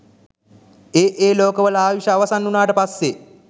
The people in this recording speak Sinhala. ඒ ඒ ලෝකවල ආයුෂ අවසන් වුණාට පස්සේ